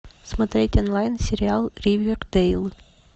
смотреть онлайн сериал ривердейл